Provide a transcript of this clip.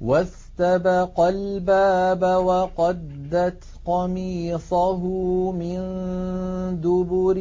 وَاسْتَبَقَا الْبَابَ وَقَدَّتْ قَمِيصَهُ مِن دُبُرٍ